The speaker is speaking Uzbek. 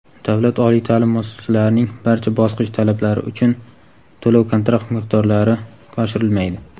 Davlat oliy ta’lim muassasalarining barcha bosqich talablari uchun to‘lov-kontrakt miqdorlari oshirilmaydi!.